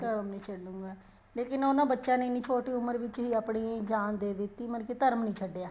ਧਰਮ ਨਹੀਂ ਛੱਡੂਗਾ ਲੇਕਿਨ ਉਹਨਾ ਬੱਚਿਆ ਨੇ ਐਨੀ ਛੋਟੀ ਉਮਰ ਵਿੱਚ ਹੀ ਆਪਣੀ ਜਾਨ ਦੇ ਦਿੱਤੀ ਮਤਲਬ ਕੀ ਧਰਮ ਨਹੀਂ ਛੱਡਿਆ